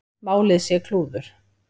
Málið sé klúður.